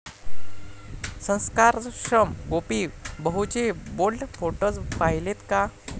संस्कारक्षम' गोपी बहूचे bold photos पाहिलेत का?